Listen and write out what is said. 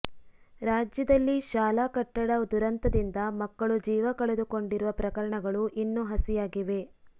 ರಾಜ್ಯದಲ್ಲಿ ಶಾಲಾ ಕಟ್ಟಡ ದುರಂತದಿಂದ ಮಕ್ಕಳು ಜೀವ ಕಳೆದುಕೊಂಡಿರುವ ಪ್ರಕರಣಗಳು ಇನ್ನು ಹಸಿಯಾಗಿವೆ